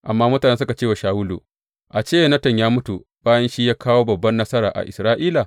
Amma mutane suka ce wa Shawulu, A ce Yonatan yă mutu bayan shi ya kawo babban nasara a Isra’ila?